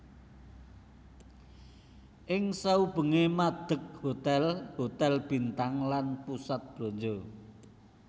Ing saubengé madeg hotel hotel bintang lan pusat blanja